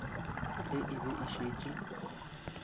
ge e be e šetše